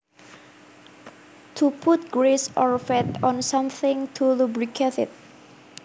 To put grease or fat on something to lubricate it